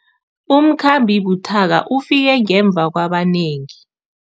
Umkhambi buthaka ufike ngemva kwabanengi.